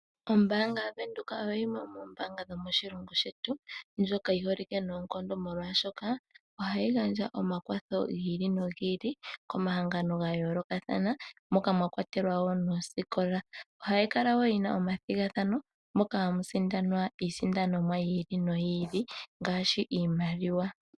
Ombaanga yaVenduka oyo yimwe yomoombanga dhomoshilongo shetu ndjoka yi holike noonkondo molwaashoka ohayi gandja omakwatho gi ili nogi ili komahangano ga yoolokathana moka mwa kwatelwa wo noosikola. Ohayi kala wo yi na omathigathano moka hamu sindanwa iisindanomwa yi ili noyi ili ngaashi iimaliwa.